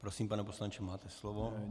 Prosím, pane poslanče, máte slovo.